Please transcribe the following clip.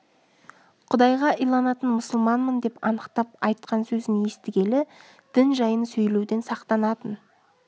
құдайға иланатын мұсылманмын деп анықтап айтқан сөзін естігелі дін жайын сөйлеуден сақтанатын